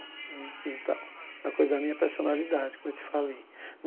Então é uma coisa minha personalidade, como eu te falei.